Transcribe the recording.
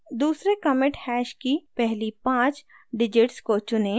दूसरे commit hash की पहली पाँच digits को चुनें